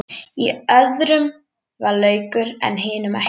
Í öðrum var laukur en hinum ekki.